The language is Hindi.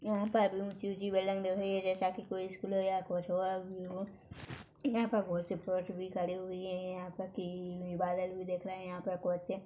यहाँ पर ऊंची ऊंची बिल्डिंग दिखाई दे रही है जैसा की कोई स्कूल हो या कोई हो यहाँ पर बोहोत से भी खड़े हुए है यहाँ तक कि देख रहै है।